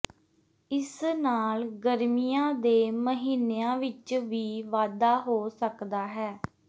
ਇਸ ਨਾਲ ਗਰਮੀਆਂ ਦੇ ਮਹੀਨਿਆਂ ਵਿਚ ਵੀ ਵਾਧਾ ਹੋ ਸਕਦਾ ਹੈ